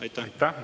Aitäh!